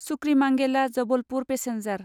सुक्रिमांगेला Jabalpur passenger